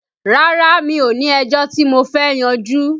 Rárá mi ò ní ẹjọ́ tí mo fẹ́ yanjú